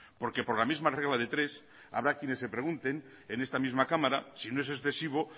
porque por la misma regla de tres habrá quienes se pregunten en esta misma cámara si no es excesivo